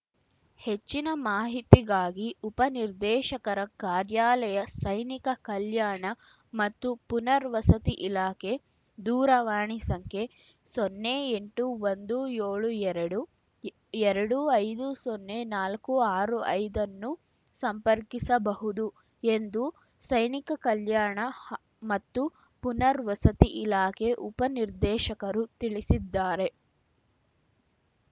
ಹೆಚ್ಚಿನ ಮಾಹಿತಿಗಾಗಿ ಉಪ ನಿರ್ದೇಶಕರ ಕಾರ್ಯಾಲಯ ಸೈನಿಕ ಕಲ್ಯಾಣ ಮತ್ತು ಪುನರ್ವಸತಿ ಇಲಾಖೆ ದೂರವಾಣಿ ಸಂಖ್ಯೆ ಸೊನ್ನೆ ಎಂಟು ಒಂದು ಯೋಳು ಎರಡುಎರಡು ಐದು ಸೊನ್ನೆ ನಾಲ್ಕು ಆರು ಐದ ನ್ನು ಸಂಪರ್ಕಿಸಬಹುದು ಎಂದು ಸೈನಿಕ ಕಲ್ಯಾಣ ಹಾ ಮತ್ತು ಪುನರ್ವಸತಿ ಇಲಾಖೆ ಉಪ ನಿರ್ದೇಶಕರು ತಿಳಿಸಿದ್ದಾರೆ